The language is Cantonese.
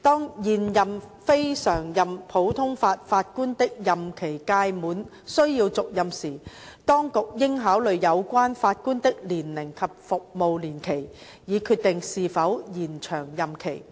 當現任非常任普通法法官的任期屆滿需要續任時，當局應考慮有關法官的年齡及服務年期，以決定是否延長任期。